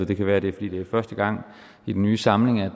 det kan være at det er fordi det er første gang i den nye samling at